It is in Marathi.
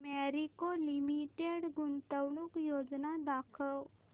मॅरिको लिमिटेड गुंतवणूक योजना दाखव